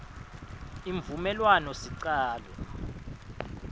imvumelwanosicalo